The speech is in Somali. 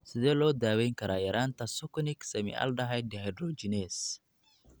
Sidee loo daweyn karaa yaraanta succinic semialdehyde dehydrogenase?